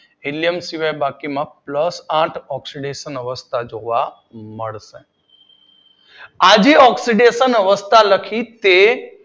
Helium સિવાય બાકીમાં plus આઠ ઓક્સીડેશન જોવા મળે છે. આ જે ઓક્સીડેશન અવસ્થા લખી તે